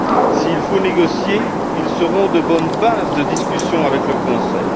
S'il faut négocier, ils constitueront de bonnes bases de discussion avec le Conseil.